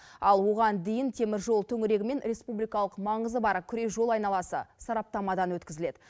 ал оған дейін теміржол төңірегі мен республикалық маңызы бар күре жол айналасы сараптамадан өткізіледі